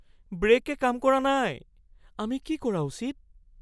ব্ৰে'কে কাম কৰা নাই। আমি কি কৰা উচিত?